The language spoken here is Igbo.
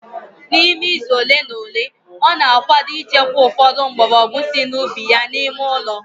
N'ime izu ole na ole, ọ na-akwado ịchekwa ụfọdụ mgbọrọgwụ sị n'ubi ya n'ime ụlọ